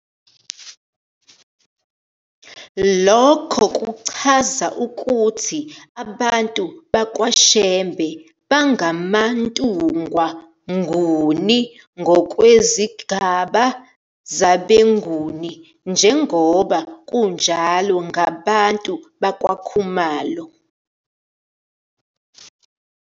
Lokho kuchaza ukuthi abantu bakwa Shembe bangamaNtungwa Nguni ngokwezigaba zabeNguni, njengoba kunjalo ngabantu bakwaKhumalo.